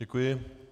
Děkuji.